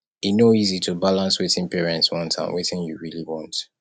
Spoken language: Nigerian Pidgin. e no easy to balance wetin parents want and wetin you really want